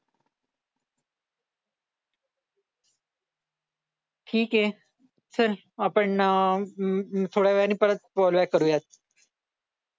ठीक आहे चल आपण ना अं थोड्या वेळाने परत कॉल बॅक करूया